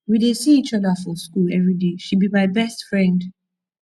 we dey see each other for shool everyday she be my best friend